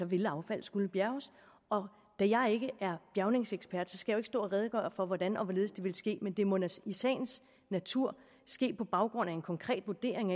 ville affaldet skulle bjærges og da jeg ikke er bjærgningsekspert skal jeg stå og redegøre for hvordan og hvorledes det ville ske men det må i sagens natur ske på baggrund af en konkret vurdering